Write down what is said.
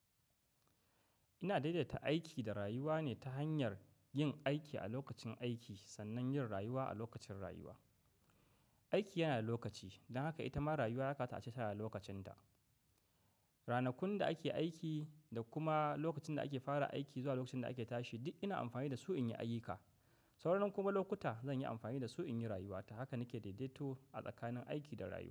Ina daidaita aiki da rayuwa ne ta hanyar yin aiki a lokacin aiki sannan yin rayuwa a lokacin rayuwa. Aiki yana da lokaci, don haka ita ma rayuwa ya kamata ace tana da lokacin ta. Ranakun da ake aiki da kuma lokacin da ake fara aiki zuwa lokacin da ake tashi duk ina amfani da su in yi ayyuka. Saura nan kuma lokuta zan yi amfani da su in yi rayuwa ta. Haka nake daidaito a tsakanin aiki da rayuwa.